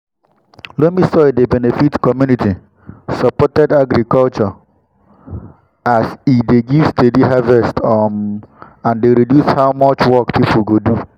loamy soil dey benefit community-supported agriculture (csa) as e dey give steady harvest um and dey reduce how much work pipu go do.